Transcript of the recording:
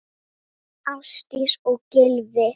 Ásdís og Gylfi.